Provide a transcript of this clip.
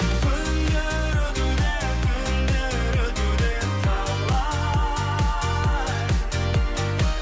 күндер өтуде түндер өтуде талай